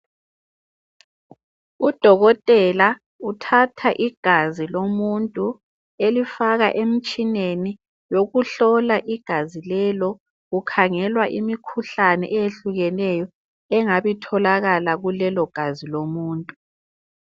Udokotela uthatha igazi lomuntu elifaka emtshineni wokuhlola igazi lelo kukhangelwa imikhuhlane eyehlukeneyo engabitholakala kulelogazi lomuntu.